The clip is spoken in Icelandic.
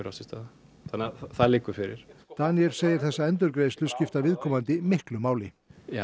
átt sér stað þannig að það liggur fyrir Daníel segir þessa endurgreiðslu skipta viðkomandi miklu máli